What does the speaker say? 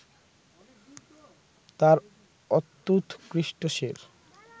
তাঁর অত্যুৎকৃষ্ট শের